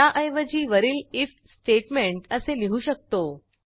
त्याऐवजी वरील IF statement असे लिहू शकतो